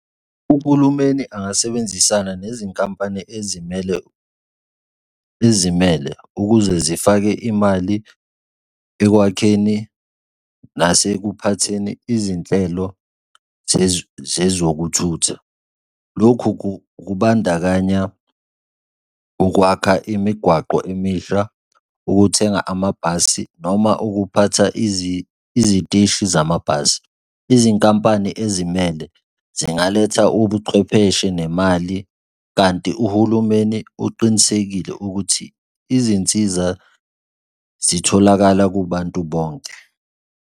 Uhulumeni angasebenzisana nezinkampani ezimele, ezimele ukuze zifake imali ekwakheni nasekuphatheni izinhlelo zezokuthutha. Lokhu kubandakanya ukwakha imigwaqo emisha, ukuthenga amabhasi noma ukuphatha iziteshi zamabhasi. Izinkampani ezimele zingaletha ubuchwepheshe nemali, kanti uhulumeni uqinisekile ukuthi izinsiza zitholakala kubantu bonke.